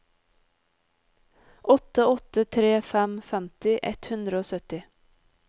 åtte åtte tre fem femti ett hundre og sytti